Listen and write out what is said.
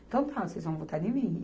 Então tá, vocês vão votar em mim.